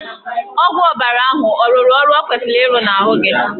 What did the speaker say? Ọgwụ ọbara ahụ ọ rụrụ ọrụ ọ kwesịrị irụ n'ahụ gị?